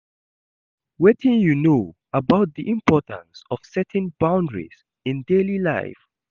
Wetin you know about di importance of setting boundaries in daily life?